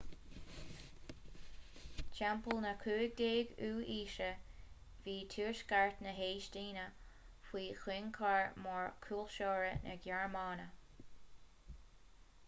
timpeall na 15ú haoise bhí tuaisceart na heastóine faoi thionchar mór cultúrtha na gearmáine